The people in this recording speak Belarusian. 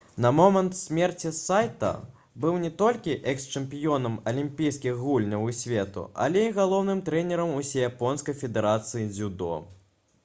на момант смерці сайта быў не толькі экс-чэмпіёнам алімпійскіх гульняў і свету але і галоўным трэнерам усеяпонскай федэрацыі дзюдо